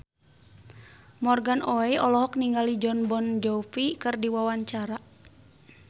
Morgan Oey olohok ningali Jon Bon Jovi keur diwawancara